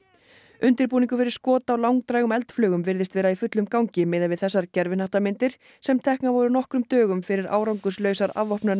undirbúningur fyrir skot á langdrægum eldflaugum virðist vera í fullum gangi miðað við þessar sem teknar voru nokkrum dögum fyrir árangurslausar